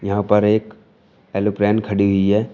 यहां पर एक एलोप्लेन खड़ी हुई है।